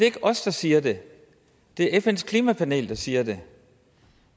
ikke os der siger det det er fns klimapanel der siger det